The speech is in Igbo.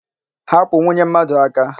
Hapụ nwunye mmadụ aka!